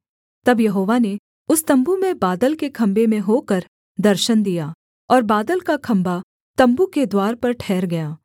तब यहोवा ने उस तम्बू में बादल के खम्भे में होकर दर्शन दिया और बादल का खम्भा तम्बू के द्वार पर ठहर गया